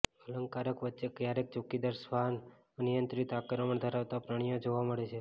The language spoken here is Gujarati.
અલંકારક વચ્ચે ક્યારેક ચોકીદાર શ્વાન અનિયંત્રિત આક્રમણ ધરાવતા પ્રાણીઓ જોવા મળે છે